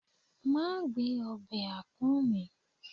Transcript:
ma gbe obe apọ̀n mi